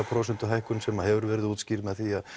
prósentuhækkun sem hefur verið útskýrð með því